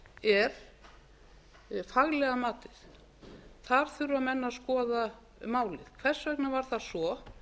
er faglega matið þar þurfa menn að skoða málið hvers vegna var það svo